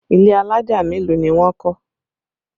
Ilé alájà mélòó ni wọ́n kọ́?